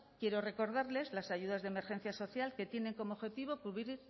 quiero recordarles las ayudas de emergencia social que tienen como objetivo cubrir